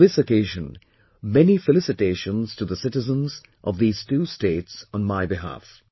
On this occasion, many felicitations to the citizens of these two states on my behalf